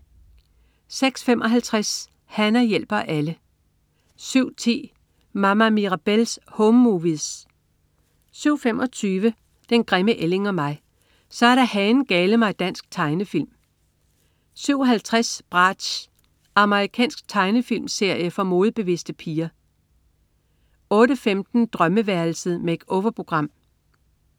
06.55 Hana hjælper alle 07.10 Mama Mirabelle's Home Movies 07.25 Den grimme ælling og mig. Så er der hanen-gale-mig dansk tegnefilm 07.50 Bratz. Amerikansk tegnefilmserie for modebevidste piger 08.15 Drømmeværelset. Make-over-program